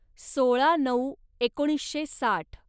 सोळा नऊ एकोणीसशे साठ